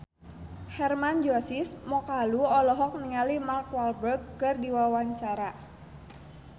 Hermann Josis Mokalu olohok ningali Mark Walberg keur diwawancara